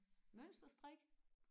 mønster strik